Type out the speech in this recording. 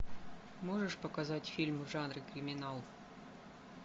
можешь показать фильм в жанре криминал